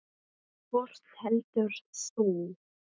Hvort velur þú?